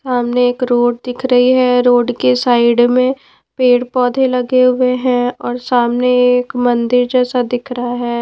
सामने एक रोड दिख रही है रोड के साइड में पेड़-पौधे लगे हुए हैं और सामने एक मंदिर जैसा दिख रहा है।